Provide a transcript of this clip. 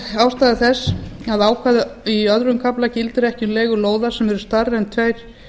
ástæða þess að ákvæði í öðrum kafla gildir ekki um leigu lóða sem eru stærri en tveir